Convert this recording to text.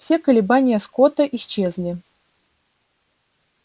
все колебания скотта исчезли